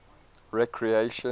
recreation